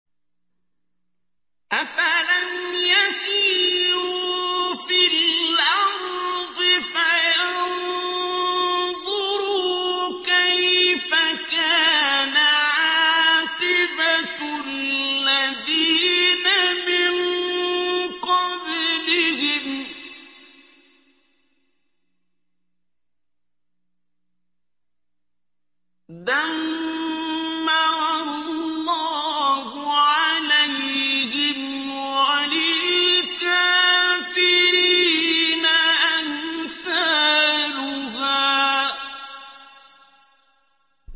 ۞ أَفَلَمْ يَسِيرُوا فِي الْأَرْضِ فَيَنظُرُوا كَيْفَ كَانَ عَاقِبَةُ الَّذِينَ مِن قَبْلِهِمْ ۚ دَمَّرَ اللَّهُ عَلَيْهِمْ ۖ وَلِلْكَافِرِينَ أَمْثَالُهَا